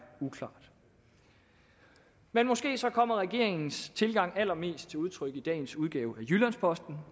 uklart men måske kommer regeringens tilgang allermest til udtryk i dagens udgave af jyllands posten